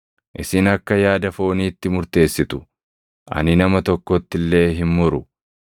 Isin akka yaada fooniitti murteessitu; ani nama tokkotti illee hin muru.